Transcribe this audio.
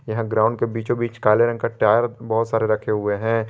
Ground के बीचों बीच काले रंग का टायर बहोत सारे रखे हुए हैं।